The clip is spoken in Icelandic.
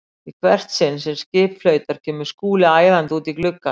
Í hvert sinn sem skip flautar kemur Skúli æðandi út í gluggann.